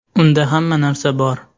Unda hamma narsa bor.